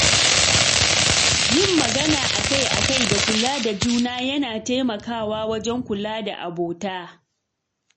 Yin magana akai-akai da kula da juna yana taimakawa wajen kula da abota.